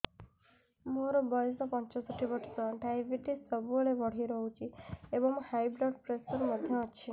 ମୋର ବୟସ ପଞ୍ଚଷଠି ବର୍ଷ ଡାଏବେଟିସ ସବୁବେଳେ ବଢି ରହୁଛି ଏବଂ ହାଇ ବ୍ଲଡ଼ ପ୍ରେସର ମଧ୍ୟ ଅଛି